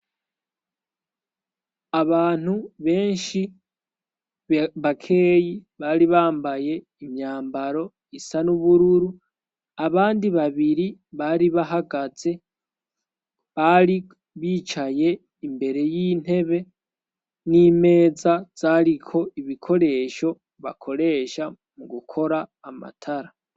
abantu benshi bakeyi bari bambaye imyambaro isa n'ubururu abandi babiri bari bahagaze bari bicaye imbere y'intebe n'imeza vyariko ibikoresho bakoresha mu gukora amatara